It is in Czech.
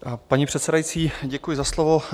Paní předsedající, děkuji za slovo.